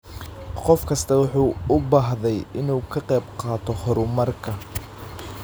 Qof kastaa wuxuu u baahday inuu ka qayb qaato horumarka.